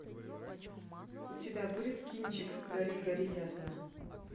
у тебя будет кинчик гори гори ясно